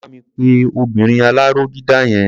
Bá mi pe obinrin aláró dídà yẹn.